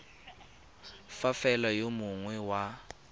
fa fela yo mongwe wa